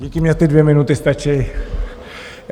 Díky, mně ty dvě minuty stačí.